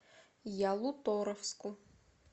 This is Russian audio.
ялуторовску